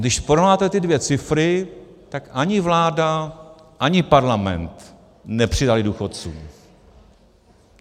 Když porovnáte ty dvě cifry, tak ani vláda, ani Parlament nepřidaly důchodcům.